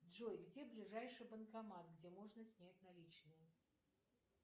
джой где ближайший банкомат где можно снять наличные